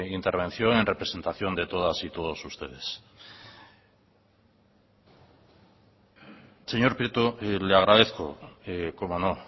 intervención en representación de todas y todos ustedes señor prieto le agradezco cómo no